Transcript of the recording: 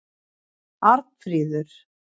Arnfríður